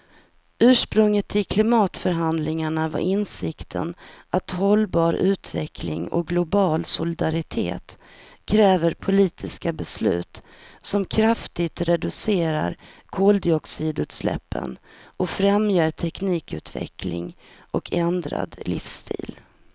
Ursprunget till klimatförhandlingarna var insikten att hållbar utveckling och global solidaritet kräver politiska beslut som kraftigt reducerar koldioxidutsläppen och främjar teknikutveckling och ändrad livsstil.